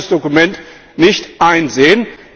Ich kann dieses Dokument nicht einsehen.